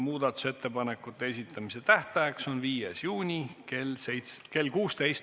Muudatusettepanekute esitamise tähtaeg on 5. juuni kell 16.